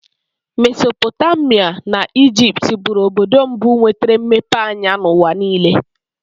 Mesopotamia na Ijipt bụrụ obodo mbụ nwetere mmepe anya n'ụwa niile.